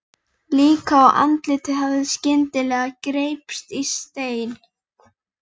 Líkt og andlitið hafi skyndilega greypst í stein.